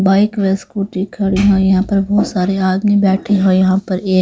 bike व scooty खड़ी है यहाँ पर बहुत सारे आदमी बैठे हैं यहाँ पर--